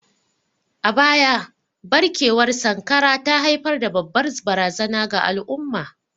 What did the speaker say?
A baya, barkewar cutar sankara ta haifar da babbar barazana ga al'umma.